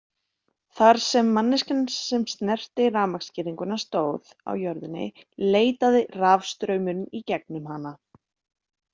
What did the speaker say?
Þar sem manneskjan sem snerti rafmagnsgirðinguna stóð á jörðinni leitaði rafstraumurinn í gegnum hana.